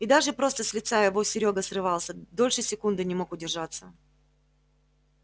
и даже просто с лица его серёга срывался дольше секунды не мог удержаться